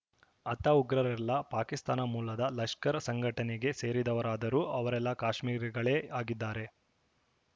ಹತ ಉಗ್ರರೆಲ್ಲಾ ಪಾಕಿಸ್ತಾನ ಮೂಲದ ಲಷ್ಕರ್‌ ಸಂಘಟನೆಗೆ ಸೇರಿದವರಾದರೂ ಅವರೆಲ್ಲಾ ಕಾಶ್ಮೀರಿಗಳೇ ಆಗಿದ್ದಾರೆ